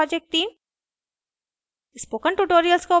spoken tutorial project team: